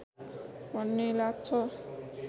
भन्ने लाग्छ